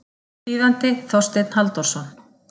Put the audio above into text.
Þýðandi Þorsteinn Halldórsson.